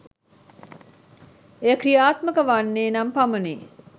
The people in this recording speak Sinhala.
එය ක්‍රියාත්මක වන්නේ නම් පමණි